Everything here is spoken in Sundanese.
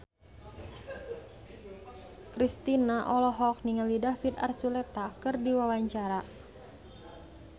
Kristina olohok ningali David Archuletta keur diwawancara